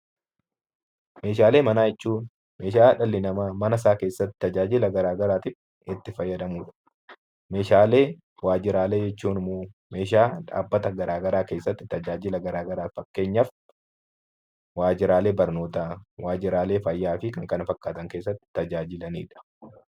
Meeshaalee manaa jechuun meeshaalee dhalli namaa mana isaa keessatti tajaajila garaagaraatiif itti fayyadamudha. Meeshaalee waajjiraalee jechuun immoo meeshaa dhaabbata garaagaraa keessatti tajaajila garaagaraaf fakkeenyaaf waajjiraalee barnootaa, waajjiraalee fayyaakan kana fakkaatan keessatti tajaajilanidha.